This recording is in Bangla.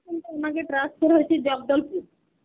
এখন তো ওনাকে transfer হয়েছে জগদলপুর.